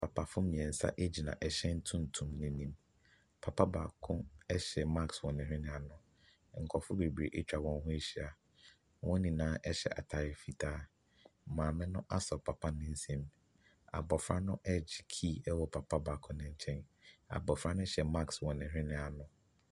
Papafo mmiɛnsa gyina ɛhyɛn tuntum no anim. Papa baako hyɛ marsk wɔ ne hwene ano. Nkrɔfo bebree atwa wɔn ho ahyia. Wɔn nyinaa hyɛ ataare fitaa. Maame no asɔ papa no nsam. Abɔfra no regye key wɔ papa baako no nkyɛn. Abofra no hyɛ marsk wɔ ne hwene ano.